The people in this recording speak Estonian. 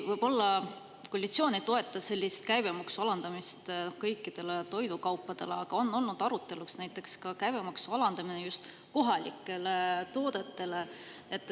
Võib-olla koalitsioon ei toeta sellist käibemaksu alandamist kõikidele toidukaupadele, aga on olnud aruteluks näiteks käibemaksu alandamine just kohalikele toodetele.